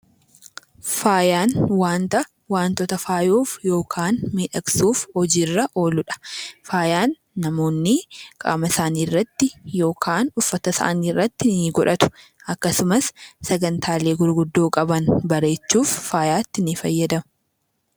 Faayaan wanta wantoota faayuuf yookaan miidhagsuuf hojiirra ooludha. Faayaan namoonni qaama isaaniirratti uffata isaaniirratti ni godhatu. Akkasumas sagantaalee gurguddoo qaban bareechuuf faaya ni fayyadamu.